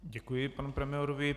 Děkuji panu premiérovi.